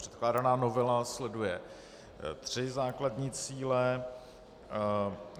Předkládaná novela sleduje tři základní cíle.